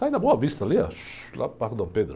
Sai da Boa Vista ali, lá no Parque Dom Pedro.